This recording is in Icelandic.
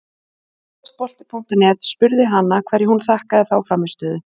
Fótbolti.net spurði hana hverju hún þakkaði þá frammistöðu?